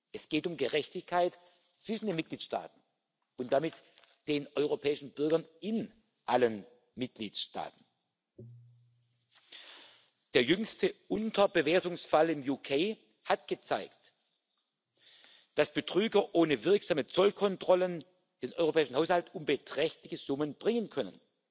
Es geht um Gerechtigkeit zwischen den Mitgliedstaaten und damit den europäischen Bürgern in allen Mitgliedstaaten. Der jüngste Unterbewertungsfall im Vereinigten Königreich hat gezeigt, dass Betrüger ohne wirksame Zollkontrollen den europäischen Haushalt um beträchtliche Summen bringen können,